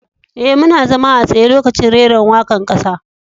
E,muna zama a tsaye lokacin reran waka'n kasa.